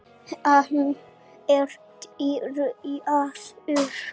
Hann er byrjaður.